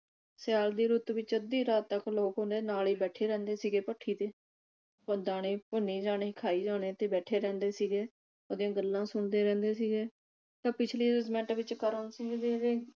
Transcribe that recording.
ਸਿਆਲ ਦੀ ਰੁੱਤ ਵਿਚ ਅੱਧੀ ਰਾਤ ਤੱਕ ਲੋਕ ਉਹਦੇ ਨਾਲ ਹੀ ਬੈਠੇ ਰਹਿੰਦੇ ਸੀ ਗੇ ਭੱਠੀ ਤੇ ਦਾਣੇ ਭੁੰਨੀ ਜਾਣੇ ਖਾਏ ਜਾਣੇ ਤੇ ਬੈਠੇ ਰਹਿੰਦੇ ਸੀਗੇ ਉਹਦੀਆਂ ਗੱਲਾਂ ਸੁਣਦੇ ਰਹਿੰਦੇ ਸੀਗੇ ਤੇ ਪਿਛਲੀਆਂ ਜਮਾਤਾਂ ਵਿਚ ਕਰਮ ਸਿੰਘ ਦੀ ਜਿਹੜੀ